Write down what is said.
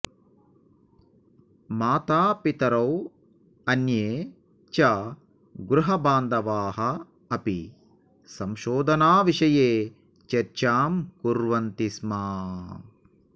मातापितरौ अन्ये च गृहबान्धवाः अपि संशोधनविषये चर्चां कुर्वन्ति स्म